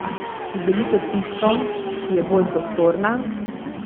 Si želite tisto, ki je bolj prostorna?